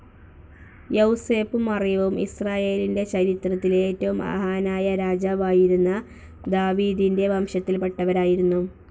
യൗസേപ്പും മറിയവും ഇസ്രായേലിൻ്റെ ചരിത്രത്തിലെ ഏറ്റവും മഹാനായ രാജാവായിരുന്ന ദാവീദിൻ്റെ വംശത്തിൽ പെട്ടവരായിരുന്നു.